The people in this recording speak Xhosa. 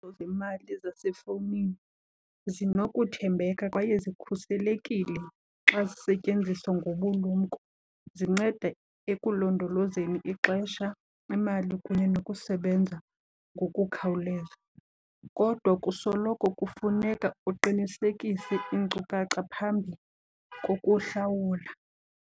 zemali zasefowunini zinokuthembeka kwaye zikhuselekile xa zisetyenziswa ngobulumko. Zinceda ekulondolozeni ixesha, imali kunye nokusebenza ngokukhawuleza. Kodwa kusoloko kufuneka uqinisekise iinkcukacha phambi kokuhlawula.